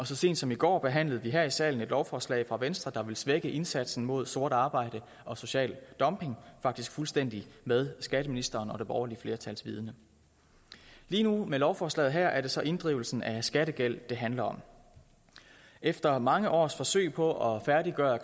så sent som i går behandlede vi her i salen et lovforslag fra venstre der vil svække indsatsen mod sort arbejde og social dumping faktisk fuldstændig med skatteministerens og det borgerlige flertals vidende lige nu med lovforslaget her er det så inddrivelsen af skattegæld det handler om efter mange års forsøg på at færdiggøre